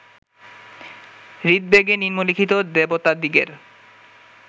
ঋগ্বেদে নিম্নলিখিত দেবতাদিগের